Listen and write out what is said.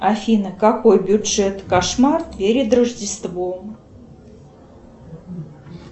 афина какой бюджет кошмар перед рождеством